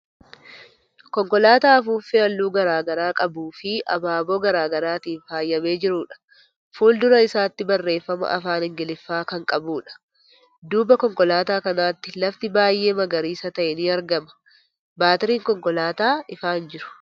Konkolaataa afuuffee haalluu garagaraa qabuu fii habaaboo garagaraatin faayamee jiruudha. Fuuldura isaatti barreeffama afaan Ingiliffaa kan qabuudha. Duuba konkolaataa kanaatti lafti baay'ee magariisa ta'e ni argama. Baatiriin konkolaataa ifaa hin jiru.